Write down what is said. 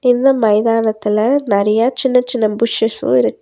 இந்த மைதானத்துல நறையா சின்ன சின்ன புஷ்ஷுஸ்ஸு இரு--